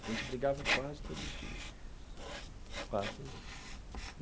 A gente brigava quase todo dia, quase todo dia.